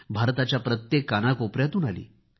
भारताच्या प्रत्येक कोनाकोपऱ्याेतून आली